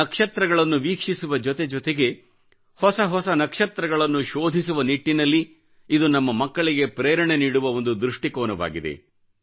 ನಕ್ಷತ್ರಗಳನ್ನು ವೀಕ್ಷಿಸುವ ಜೊತೆ ಜೊತೆಗೆ ಹೊಸ ಹೊಸ ನಕ್ಷತ್ರಗಳನ್ನು ಶೋಧಿಸುವ ನಿಟ್ಟಿನಲ್ಲಿ ಇದು ನಮ್ಮ ಮಕ್ಕಳಿಗೆ ಪ್ರೇರಣೆ ನೀಡುವ ಒಂದು ದೃಷ್ಟಿಕೋನವಾಗಿದೆ